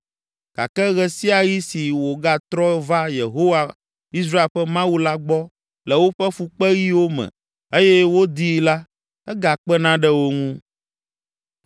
gake ɣe sia ɣi si wogatrɔ va Yehowa, Israel ƒe Mawu la gbɔ le woƒe fukpeɣiwo me eye wodii la, egakpena ɖe wo ŋu.